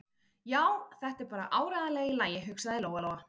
Já, þetta er bara áreiðanlega í lagi, hugsaði Lóa-Lóa.